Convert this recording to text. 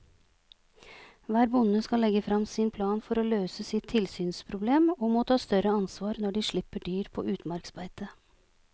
Hver bonde skal legge frem sin plan for å løse sitt tilsynsproblem og må ta større ansvar når de slipper dyr på utmarksbeite.